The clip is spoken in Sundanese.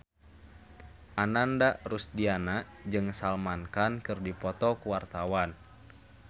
Ananda Rusdiana jeung Salman Khan keur dipoto ku wartawan